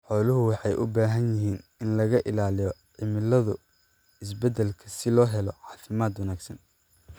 Xooluhu waxa ay u baahan yihiin in laga ilaaliyo cimiladu is beddelka si loo helo caafimaad wanaagsan.